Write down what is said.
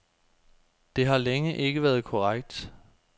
Det har længe ikke været korrekt.